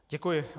Děkuji.